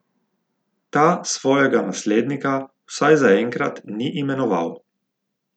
Ta svojega naslednika vsaj zaenkrat ni imenoval.